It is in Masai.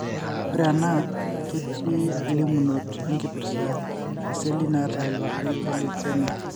ore ena kiti limunoto na kipirta iseli naata ilpapit elukemia.